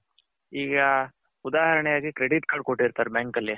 ಈಗ ಉದಾರಣೆಗೆ credit card ಕೊಟ್ಟಿರ್ತಾರೆ bank ಅಲ್ಲಿ